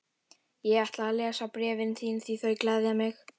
Ég ætla að lesa bréfin þín því þau gleðja mig.